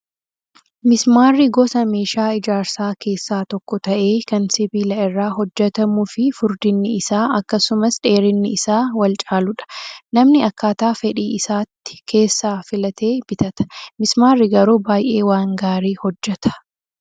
Mismaarri gosa meeshaa ijaarsaa keessaa tokko ta'ee kan sibiila irraa hojjatamuu fi furdinni isaa akkasumas dheerinni isaa wal caaludha. Namni akkaataa fedhii isaatti keessaa filatee bitata. Mismaarri garuu baay'ee waan gaarii hojjataa